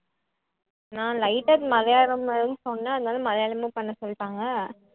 நான் light ஆ மலையாளம்ன்னு சொன்னேன் அதனால மலையாளமும் பண்ண சொல்லிட்டாங்க